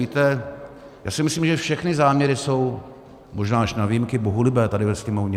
Víte, já si myslím, že všechny záměry jsou - možná až na výjimky - bohulibé tady ve Sněmovně.